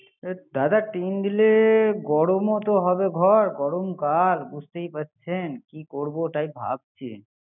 দাদা টিন দিলে গরম ও তো হবে ঘর, গরম কাল বুঝতেই পারছেন। কি করব তাই ভাবছি